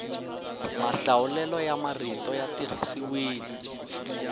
mahlawulelo ya marito ya tirhisiwile